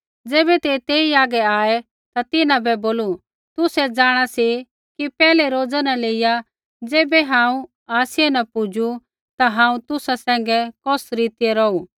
ज़ैबै ते तेई हागै आऐ ता तिन्हां बै बोलू तुसै जाँणा सी कि पैहलै रोज़ा न लेइया ज़ैबै हांऊँ आसिया न पुजू ता हांऊँ तुसा सैंघै कौस रीतियै रौहू